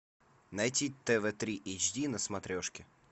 найти тв три эйч ди на смотрешке